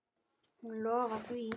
Hún lofaði því.